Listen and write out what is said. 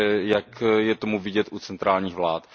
jak je to vidět u centrálních vlád.